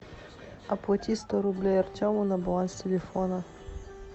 оплати сто рублей артему на баланс телефона